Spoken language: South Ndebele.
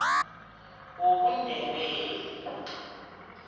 wobundebele